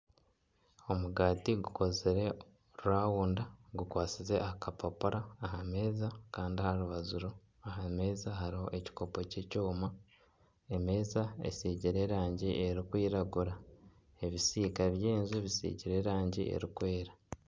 Omugati gukozire rawunda gukwasize aha kapapura aha meeza kandi aha rubaju aha meeza hariho ekikopo ky'ekyoma. Emeeza esiigire erangi erikwiragura. Ebisiika by'enju bisiigire erangi erikwera.